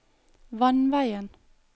vannveien